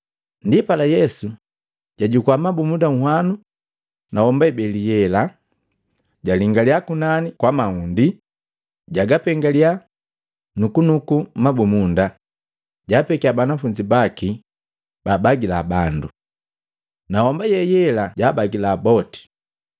Ndipala Yesu jajukua mabumunda nhwanu na homba ibeli ye yela, jalingaliya kunani kwa mahundi, jagapengaliya, nukunuku mabumunda, japekiya banafunzi baki babagila bandu. Na homba ye yela jabagila boti.